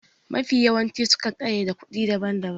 Mafiya yawanci su kan ƙayyade kuɗi daban daban